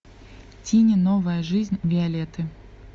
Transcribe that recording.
тини новая жизнь виолетты